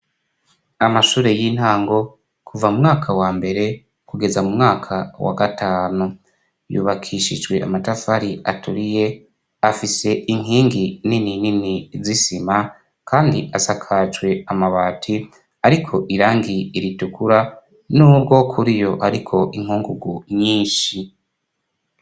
Amashure y'intango kuva mu mwaka wa mbere kugeza mu mwaka wa gatanu yubakishijwe amatafari aturiye afise inkingi nini nini zisima kandi asakajwe amabati ariko irangi ritukura n'ubwo kuri yo ariko inkungugu nyinshi.